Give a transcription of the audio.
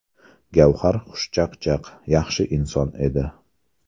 Gavhar xushchaqchaq, yaxshi inson edi.